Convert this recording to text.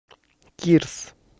кирс